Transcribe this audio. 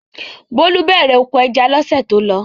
Bólú bẹ̀rẹ̀ oko ẹja lọ́sẹ̀ tó lọ.